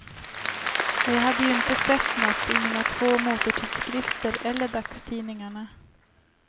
Och jag hade ju inte sett något i mina två motortidskrifter eller dagstidningarna.